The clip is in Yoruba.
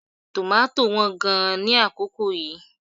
Tòmátò wán gan-an ní àkókò yìí